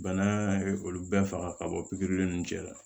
Bana ye olu bɛɛ faga ka bɔ pikiri ninnu cɛ la